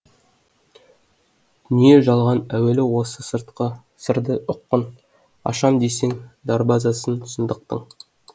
жалған әуелі осы сырды ұққын ашам десең дарбазасын шындықтың